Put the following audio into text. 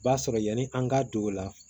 O b'a sɔrɔ yani an ka don o la